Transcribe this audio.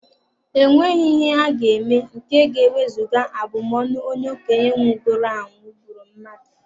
E nweghị ihe a ga-eme nke ga-ewezuga abụmọnụ onye okenye nwụgoro anwụ bụrụ mmadụ.